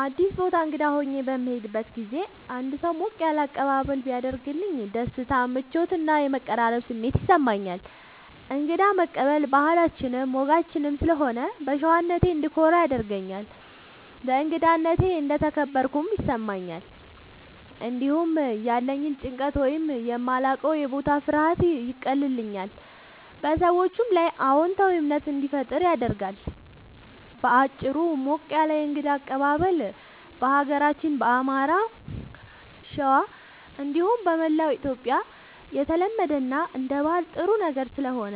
አዲስ ቦታ እንግዳ ሆኜ በምሄድበት ጊዜ አንድ ሰው ሞቅ ያለ አቀባበል ቢያደርግልኝ ደስታ፣ ምቾት እና የመቀራረብ ስሜት ይሰማኛል። እንግዳ መቀበል ባህላችንም ወጋችንም ስለሆነ በሸዋነቴ እንድኮራ ያደርገኛል። በእንግዳነቴ እንደተከበርኩም ይሰማኛል። እንዲሁም ያለኝን ጭንቀት ወይም የማላዉቀዉ የቦታ ፍርሃት ያቀልልኛል፣ በሰዎቹም ላይ አዎንታዊ እምነት እንዲፈጠር ያደርጋል። በአጭሩ፣ ሞቅ ያለ የእንግዳ አቀባበል በሀገራችን በአማራ(ሸዋ) እንዲሁም በመላዉ ኢትዮጽያ የተለመደ እና አንደ ባህል ጥሩ ነገር ስለሆነ